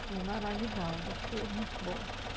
Foi maravilhosa, foi muito bom.